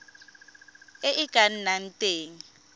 e e ka nnang teng